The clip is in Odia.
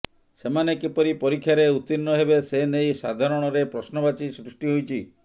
ସେମାନେ କିପରି ପରୀକ୍ଷାରେ ଉତ୍ତୀର୍ଣ୍ଣ ହେବେ ସେ ନେଇ ସାଧାରଣରେ ପ୍ରଶ୍ନବାଚୀ ସୃଷ୍ଟି ହୋଇଛି